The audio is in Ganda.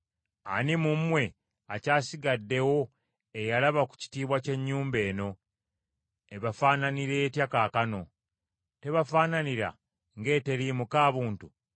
‘Ani mu mmwe akyasigaddewo eyalaba ku kitiibwa ky’ennyumba eno? Ebafaananira etya kaakano? Tebafaananira ng’eteriimu kaabuntu?